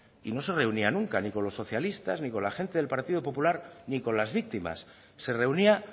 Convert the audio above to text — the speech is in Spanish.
y no se reunía nunca ni con los socialistas ni con la gente del partido popular ni con las víctimas se reunía